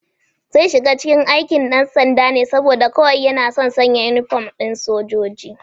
Zai shiga cike aikin ɗansanda ne saboda kawai yana son sanya inifom ɗin sojoji